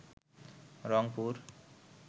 Rangpur